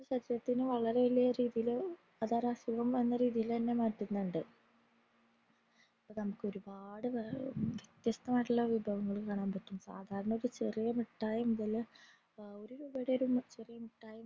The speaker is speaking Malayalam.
സത്യത്തിന് വളരെ ഏറെ രീതീല് അതായതു അസുഖം വന്നേ രീതിലെന്നെ മറ്റുനിണ്ട് നമുക് ഒരുപാട് വ്വിത്യസ്ത മായിട്ടുള്ള വിഭവം കാണാൻ പാട്ടും സാദാരണ ചെറിയ മിട്ടായി അതയൊരു ഒരു രൂപയുടെ ചെറിയ മിട്ടായി